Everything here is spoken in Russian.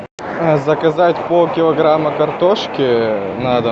заказать пол килограмма картошки на дом